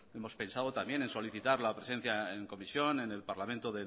hemos pensado también en solicitar la presencia en comisión en el parlamento